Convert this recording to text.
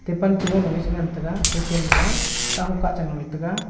tepan cholo go che ngan taiga ga chen ma a kaho kacha wete ga.